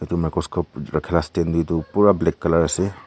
etu microscope rakha la stand te toh pura black colour ase.